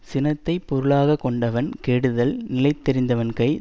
சினத்தை பொருளாக கொண்டவன் கெடுதல் நிலத்தெறிந்தவன்கை